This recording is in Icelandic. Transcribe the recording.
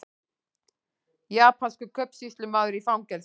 Japanskur kaupsýslumaður í fangelsi